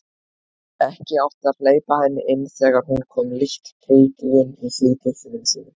Ekki átti að hleypa henni inn þegar hún kom lítt prúðbúin í síðbuxunum sínum.